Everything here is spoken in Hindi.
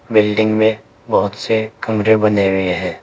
बिल्डिंग में बहुत से कमरे बने हुए हैं।